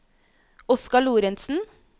Oscar Lorentzen